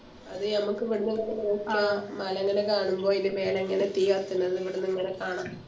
അത് ഞമ്മക്ക് എവിടിന്നിങ്ങനെ നോക്കിയാ മലങ്ങനെ കാണുമ്പോ അയിൻറെ മേലെ ഇങ്ങനെ തീ കത്തണത് ഇവിടിന്നിങ്ങനെ കാണാ